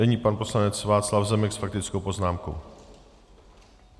Nyní pan poslanec Václav Zemek s faktickou poznámkou.